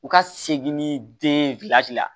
U ka segin ni den la